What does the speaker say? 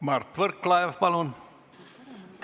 Mart Võrklaev, palun!